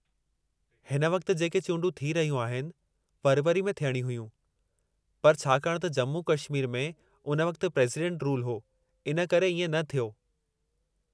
हुन वक़्ति जेके चूंडूं थी रहियूं आहिनि, फ़रवरी में थियणियूं हुयूं, पर छाकाणि त जम्मू-कश्मीर में उन वक़्ति प्रेज़ीडेंटु रूलु हो, हिन करे इएं न थियो।